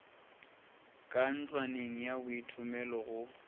ka ntlwaneng ya boithomelo go